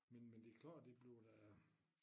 Men men det klart det bliver da